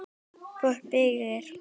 Fólk byggir.